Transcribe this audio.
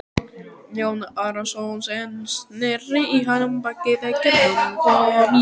Jón Arason sneri í hann baki þegar hann kom inn.